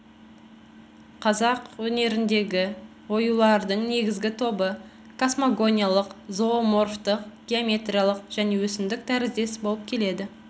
қазақ өнеріндегі оюлардың негізгі тобы касмогониялық зооморфтық геометриялық және өсімдік тәріздес болып келеді